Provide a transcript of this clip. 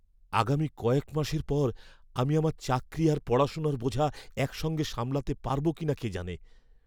আগামী কয়েক মাসের পর আমি আমার চাকরি আর পড়াশোনার বোঝা একসঙ্গে সামলাতে পারবো কিনা কে জানে!